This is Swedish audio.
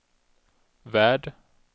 värld